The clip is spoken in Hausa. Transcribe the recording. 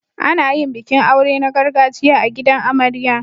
Ana yin bikin aure na gargajiya a gidan amarya.